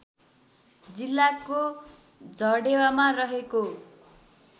जिल्लाको झडेवामा रहेको